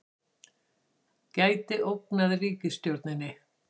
Gæti ógnað ríkisstjórninni